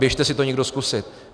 Běžte si to někdo zkusit.